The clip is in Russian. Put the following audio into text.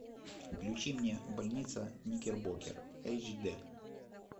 включи мне больница никербокер эйч ди